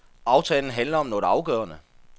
Aftalen handler om noget afgørende.